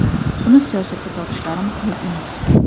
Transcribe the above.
Uni siyosatga tortishlari maqbul emas.